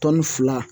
fila